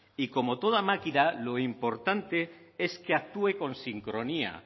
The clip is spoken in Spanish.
y que como toda máquina lo importante es que actúe con sincronía